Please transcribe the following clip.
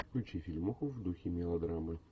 включи фильмуху в духе мелодрамы